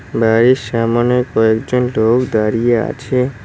বাড়ির সামোনে কয়েকজন লোক দাঁড়িয়ে আছে।